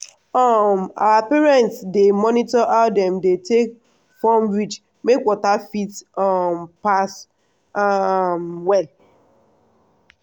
um our parents dey monitor how dem dey take form ridge make water fit um pass um well.